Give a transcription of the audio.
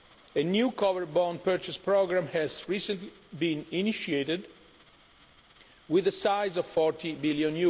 A new Covered Bond Purchase Programme has recently been initiated, with a size of EUR 40 billion.